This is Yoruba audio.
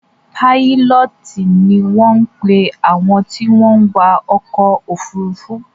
Pílọtíì ni wọn pe àwọn tí wọ́n wa ọkọ̀ ofurufu